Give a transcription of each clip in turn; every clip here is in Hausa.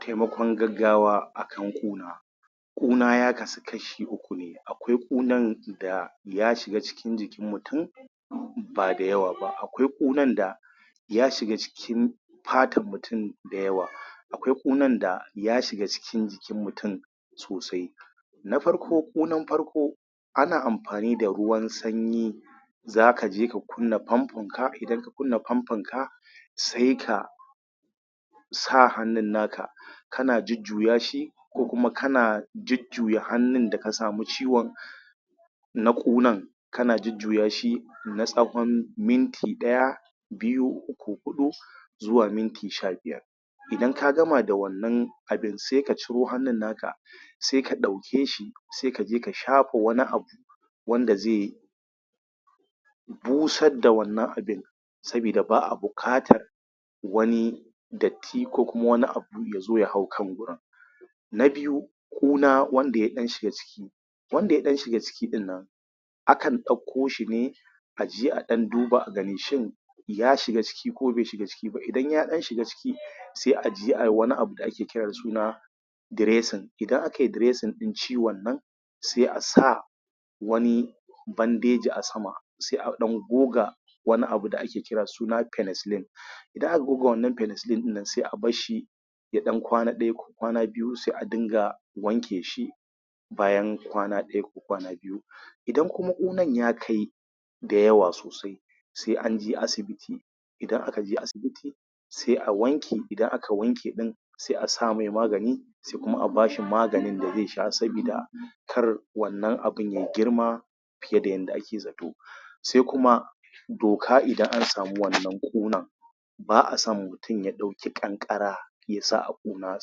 Taimakon gaggawa a kan ƙuna ƙuna ya kasu kashi uku ne akwai ƙunan da ya shiga jikin mutu ba da yawa ba akwai ƙunan da ya shiga cikin fatan mutum da yawa akwai ƙunan da ya shiga cikin jikin mutum sosai. Na farko ƙunan farko ana amfani da ruwan sanyi za ka je ka kunna fanfonka, idan ka kunna fankonka sai ka sa hannun naka kana jujjuya shi ko kuma kana jujjuya hannun da ka samu ciwon Na ƙunan ka na jujjuya shi na ytsawon minti ɗaya biyu uku huɗu na tsawon minti sha biyar. Idan ka gama da wannan abin sai ka ciro hannun naka sai ka ɗauke shi sai ka je ka shafa wani abu wanda zai busarda wannan abun saboda ba a buƙatar wani datti ko wani abu ya zo ya hau kan gurin. Na biyu ƙuna wanda ya ɗan shiga ciki. Wanda ya ɗan shiga cikin nan, akan ɗauko shi ne a je a ɗan duba a gani shin ya shin ya shiga ciki ko bai shiga ciki ba, idan ya shiga cin sai a je ayi wani abu da ake kira da suna dressing idan a kai dressing ɗin cuwon nan sai a sa wani badeji a sama a ɗan goga wani abu da ake kira suna penicelline idan aka goga wannan penicilline ɗin sai a basshi ya ɗan kwana ɗaya ko kwana biyu sai a dinga wanke shi. bayan kwana ɗaya ko kwana biyu. Idan ƙunan ya kai da yawa sosai sai an je asibiti, idan aka je asibiti, sai a wanke idan aka wanke ɗin sai a sa mai magani sai kuma a ba shi maganin da zai sha sabida kar wannan abin ya girma fiye da yadda ake zato, sai kuma doka idan an samu wannan ƙunan ba a so mutum ya ɗauki ƙanƙara ya sa a wannan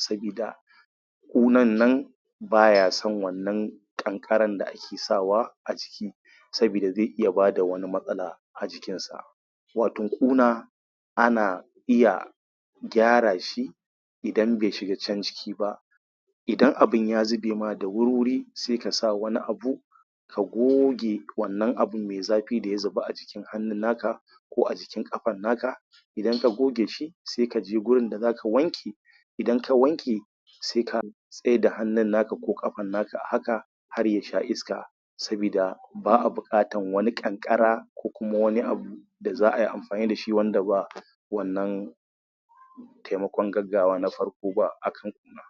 ƙunar saboda ƙunan nan baya son wannan ƙanƙarar da ake sawa saboda zai iya ba da wani matsala a jikin sa. wato ƙuna ana iya gyara shi idan bai shiga can ciki ba idan abun ya zube ma da wuri-wuri sai ka sa wani abu ka goge wannan abun mai zafi da ya zuba a hannun naka ko a jikin ƙafan naka idan ka goge shi sai ka je gurin da za ka wanke idan ka wanke sai ka tsaida hannun naka ko ƙafan naka a haka har ya sha iska. Sabida ba a buƙatan wani ƙanƙara ko wani abu da za ai amfani da shi wanda ba wannan taimakon gaggawa na farko ba a kan ƙuna.